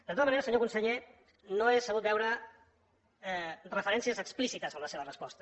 de tota manera senyor conseller no he sabut veure referències explícites en la seva resposta